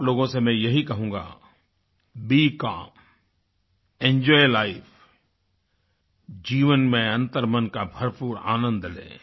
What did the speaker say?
आप लोगों से मैं यही कहूँगा बीई काल्म एंजॉय लाइफ जीवन में अन्तर्मन का भरपूर आनंद लें